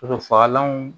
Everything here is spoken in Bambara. fagalanw